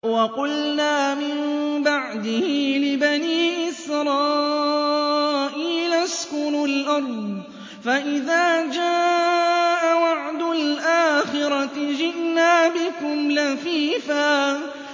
وَقُلْنَا مِن بَعْدِهِ لِبَنِي إِسْرَائِيلَ اسْكُنُوا الْأَرْضَ فَإِذَا جَاءَ وَعْدُ الْآخِرَةِ جِئْنَا بِكُمْ لَفِيفًا